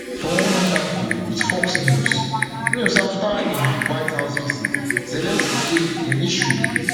for one interview wit fox news news afta im white house visit zelensky say im issue wit